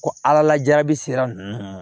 Ko ala lajabi sira ninnu